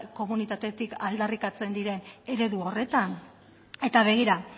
komunitatetik aldarrikatzen diren eredu horretan eta begira